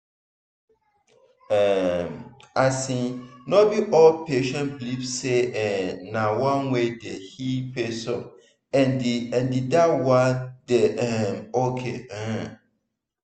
um asin no be all patients believe say[um]na one way dey heal person and and dat one dey um ok. um